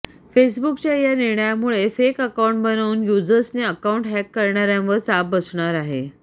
फेसबुकच्या या निर्णयामुळे फेक अकाऊंट बनवून यूजर्सचे अकाऊंट हॅक करणाऱ्यांवर चाप बसणार आहे